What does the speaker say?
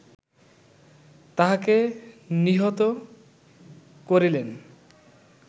তাহাকে নিহত করিলেন